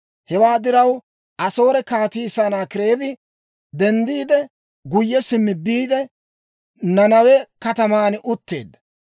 Hewaa diraw, Asoore Kaatii Sanaakireebi denddiide, guyye simmi biide, Nanawe kataman utteedda.